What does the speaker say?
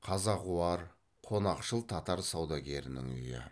қазағуар қонақшыл татар саудагерінің үйі